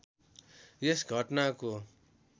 यस घटनाको